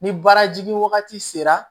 Ni baara jigin wagati sera